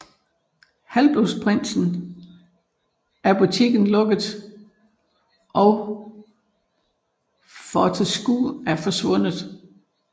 I Halvblodsprinsen er butikken lukket og Fortescue er forsvundet